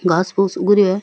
घास फुस उग रियो है।